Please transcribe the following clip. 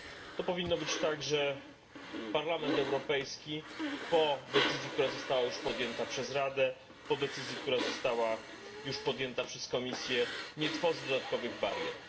To powinno być tak, że Parlament Europejski po decyzji, która została już podjęta przez Radę, po decyzji, która została już podjęta przez Komisję, nie tworzy dodatkowych barier.